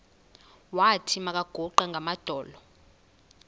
wathi makaguqe ngamadolo